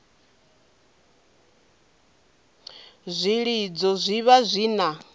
zwilidzo zwi vha zwi na